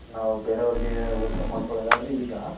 ನಾವು ಬೇರೆಯವರಿಗೆ ಹೋಲಿಕೆ ಮಡ್ಕೊಲಾದ್ಆದ್ರೆ ಈಗ.